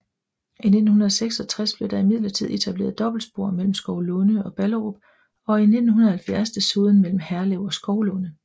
I 1966 blev der imidlertid etableret dobbeltspor mellem Skovlunde og Ballerup og i 1970 desuden mellem Herlev og Skovlunde